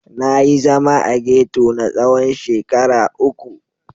Na yi zama a ghetto na tsawon shekara uku.